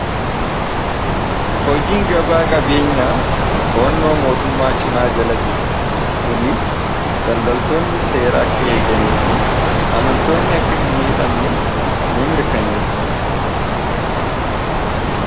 hojiin gabaa qabeenyaa toonnoo mootummaa cimaa jala jira kuniis daldaltoonni seera akka eeganii fi amantoonni akka hin miidhamne ni mirkaneessa